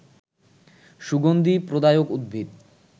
সুগন্ধি প্রদায়ক উদ্ভিদ